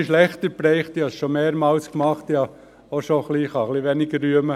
Ich habe schon mehrmals den Nachtzug genommen und habe es hin und wieder schlechter getroffen: